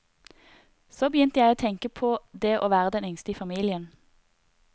Så begynte jeg å tenke på det å være den yngste i familien.